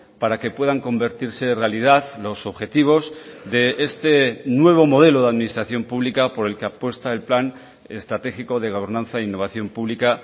para que puedan convertirse en realidad los objetivos de este nuevo modelo de administración pública por el que apuesta el plan estratégico de gobernanza e innovación publica